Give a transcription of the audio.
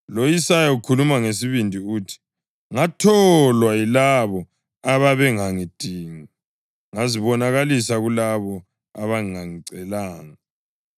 Lo-Isaya ukhuluma ngesibindi uthi, “Ngatholwa yilabo ababengangidingi; ngazibonakalisa kulabo abangangicelanga.” + 10.20 U-Isaya 65.1